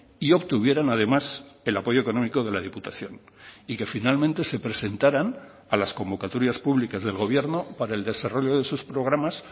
y obtuvieran además el apoyo económico de la diputación y que finalmente se presentaran a las convocatorias públicas del gobierno para el desarrollo de sus programas